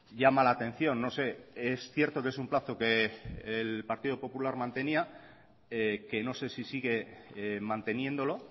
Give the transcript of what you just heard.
llama la atención no sé es cierto que es un plazo que el partido popular mantenía que no sé si sigue manteniéndolo